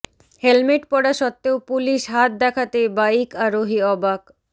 helmet পরা সত্বেও police হাত দেখাতেই বাইক আরোহি অবাক